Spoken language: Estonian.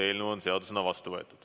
Eelnõu on seadusena vastu võetud.